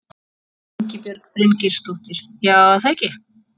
Ingibjörg Bryngeirsdóttir: Já, er það ekki?